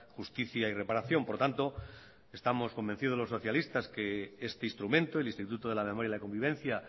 justicia y reparación por tanto estamos convencidos los socialistas que este instrumento el instituto de la memoria y la convivencia